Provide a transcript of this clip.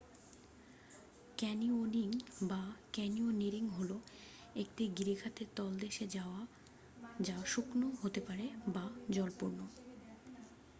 Canyoning বা: canyoneering হল একটি গিরিখাতের তলদেশে যাওয়া যা শুকনো হতে পারে বা জলপূর্ণ।